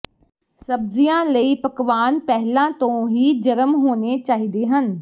ਸਬਜ਼ੀਆਂ ਲਈ ਪਕਵਾਨ ਪਹਿਲਾਂ ਤੋਂ ਹੀ ਜਰਮ ਹੋਣੇ ਚਾਹੀਦੇ ਹਨ